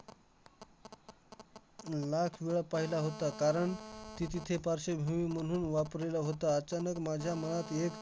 हम्म वेळा पाहिला होता, कारण ती तिथे पार्श्वभूमी म्हणून वापरलेला होता. अचानक माझ्या मनात एक